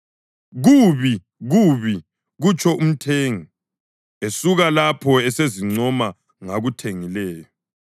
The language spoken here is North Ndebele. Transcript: “Kubi, kubi!” kutsho umthengi; esuka lapho usezincoma ngakuthengileyo.